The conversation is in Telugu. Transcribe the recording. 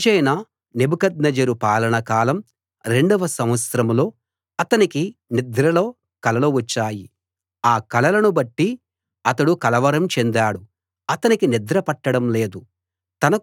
రాజైన నెబుకద్నెజరు పాలన కాలం రెండవ సంవత్సరంలో అతనికి నిద్రలో కలలు వచ్చాయి ఆ కలలను బట్టి అతడు కలవరం చెందాడు అతనికి నిద్రపట్టడం లేదు